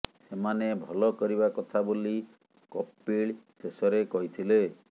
ସେମାନେ ଭଲ କରିବା କଥା ବୋଲି କପିଳ ଶେଷରେ କହିଥିଲେ